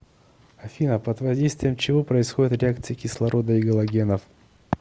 афина под воздействием чего происходят реакции кислорода и галогенов